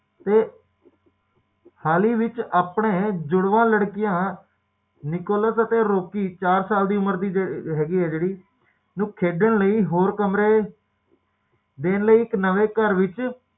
ਜਿਓ ਜਿਓ ਅਸੀਂ ਜੀਵਨ ਵਿੱਚ ਅੱਗੇ